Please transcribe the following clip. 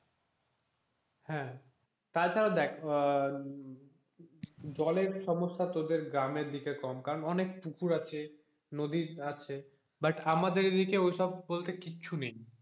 হ্যাঁ, তাছাড়া দেখ আহ জলের সমস্যা তোদের গ্রামের দিকে অনেক কম কারণ অনেক পুকুর আছে অনেক নদী আছে but আমাদের এদিকে ওসব বলতে কিচ্ছু নেই,